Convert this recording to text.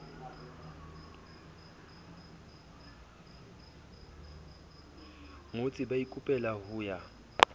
ngotse ba ikopela ho ya